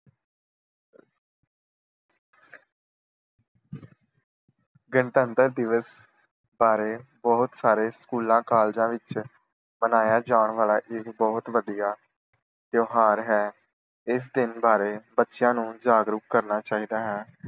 ਗਣਤੰਤਰ ਦਿਵਸ ਬਾਰੇ ਬਹੁਤ ਸਾਰੇ ਸਕੂਲਾਂ ਕਾਲਜਾਂ ਵਿੱਚ ਮਨਾਇਆ ਜਾਣ ਵਾਲਾ ਇਹ ਬਹੁਤ ਵਧੀਆ ਤਿਉਹਾਰ ਹੈ। ਇਸ ਦਿਨ ਬਾਰੇ ਬੱਚਿਆਂ ਨੂੰ ਜਾਗਰੂਕ ਕਰਨਾ ਚਾਹੀਦਾ ਹੈ।